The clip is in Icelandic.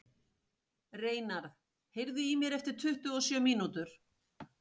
Reynarð, heyrðu í mér eftir tuttugu og sjö mínútur.